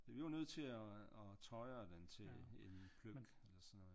Så vi var nødt til at tøjre den til en pløk eller sådan noget